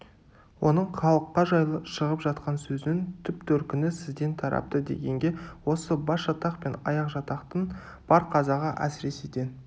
оның халыққа жайлы шығып жатқан сөзінің түп-төркіні сізден тарапты дегенге осы басжатақ пен аяқжатақтың бар қазағы әсіресе ден